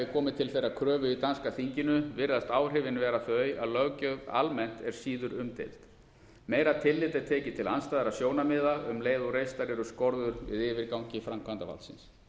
komið til þeirrar kröfu í danska þinginu virðast áhrifin vera þau að löggjöf almennt er síður umdeild meira tillit er tekið til andstæðra sjónarmiða um leið og reistar eru skorður við yfirgangi framkvæmdarvaldsins